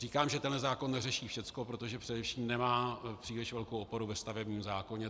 Říkám, že tenhle zákon neřeší všecko, protože především nemá příliš velkou oporu ve stavebním zákoně.